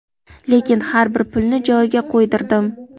lekin har bir pulni joyiga qo‘ydirdim.